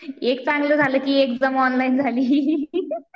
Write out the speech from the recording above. एक चांगलं झालं की एक्झाम ऑनलाईन झाली